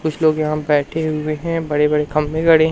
कुछ लोग यहां पे बैठे हुए हैं बड़े बड़े खंभे गड़े हैं।